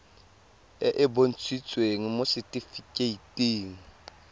e e bontshitsweng mo setifikeiting